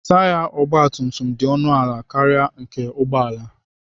Taya ọgbatumtum dị ọnụ ala karịa nke ụgbọala.